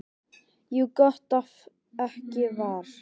Jú, gott ef ekki var.